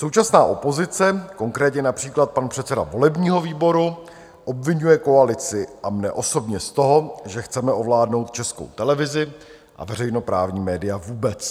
Současná opozice, konkrétně například pan předseda volebního výboru, obviňuje koalici a mne osobně z toho, že chceme ovládnout Českou televizi a veřejnoprávní média vůbec.